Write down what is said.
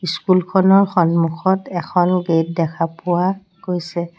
School খনৰ সন্মুখত এখন গেট দেখা পোৱা গৈছে।